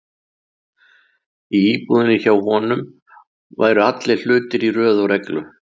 Í íbúðinni hjá honum væru allir hlutir í röð og reglu.